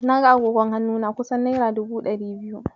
Na ga agogon hannu na kusan naira dubu ɗari biyu.